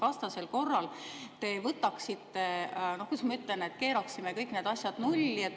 Vastasel korral, kuidas ma ütlen, me keeraksime kõik need asjad nulli.